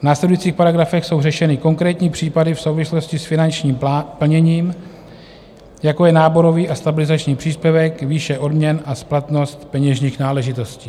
V následujících paragrafech jsou řešeny konkrétní případy v souvislosti s finančním plněním, jako je náborový a stabilizační příspěvek, výše odměn a splatnost peněžních náležitostí.